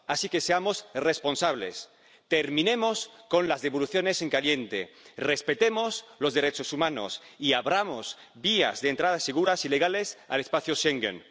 Así que seamos responsables, terminemos con las devoluciones en caliente, respetemos los derechos humanos y abramos vías de entrada seguras y legales al espacio Schengen.